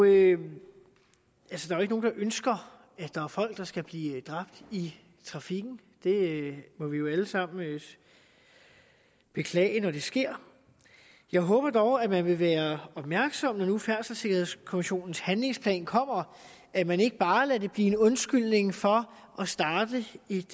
jo ikke nogen der ønsker at der er folk der skal blive dræbt i trafikken det må vi jo alle sammen beklage når det sker jeg håber dog at man vil være opmærksom på når nu færdselssikkerhedskommissionens handlingsplan kommer at man ikke bare lader det blive en undskyldning for at starte